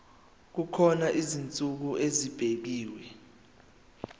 kukhona izinsuku ezibekiwe